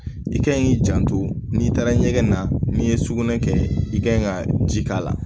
I ka ɲi k'i janto n'i taara ɲɛgɛn na n'i ye sugunɛ kɛ i kan ɲi ka ji k'a la